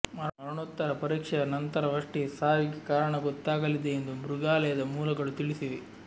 ಮರಣೋತ್ತರ ಪರೀಕ್ಷೆಯ ನಂತರವಷ್ಟೇ ಸಾವಿಗೆ ಕಾರಣ ಗೊತ್ತಾಗಲಿದೆ ಎಂದು ಮೃಗಾಲಯದ ಮೂಲಗಳು ತಿಳಿಸಿವೆ